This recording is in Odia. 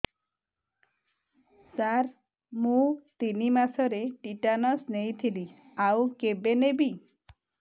ସାର ମୁ ତିନି ମାସରେ ଟିଟାନସ ନେଇଥିଲି ଆଉ କେବେ ନେବି